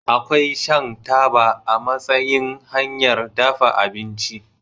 Akwai shan taba a matsayin hanyar dafa abinci.